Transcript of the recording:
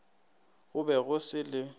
go be go se le